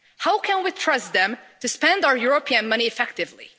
How can we trust them to spend our European money effectively?